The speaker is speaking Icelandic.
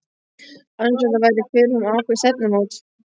Alveg eins og þetta væri fyrirfram ákveðið stefnumót.